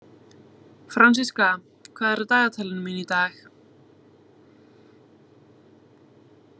Fransiska, hvað er á dagatalinu mínu í dag?